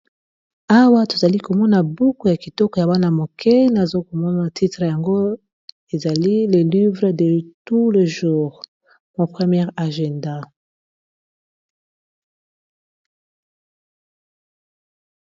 Awa tozali komona buku ya kitoko ya bana mike, nazokomona titre yango ezali le livre de tou le jour. Mon première agenda.